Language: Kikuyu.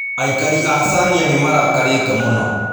Aikari a Chania nĩ marakarĩte mũno.